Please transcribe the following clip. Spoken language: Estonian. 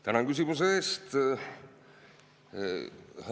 Tänan küsimuse eest!